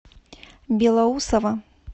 белоусово